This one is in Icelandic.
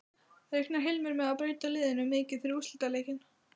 Reiknar Heimir með að breyta liðinu mikið fyrir úrslitaleikinn?